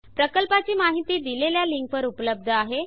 प्रकल्पाची माहिती दिलेल्या लिंकवर उपलब्ध आहे